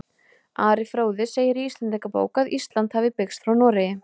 Ari fróði segir í Íslendingabók að Ísland hafi byggst frá Noregi.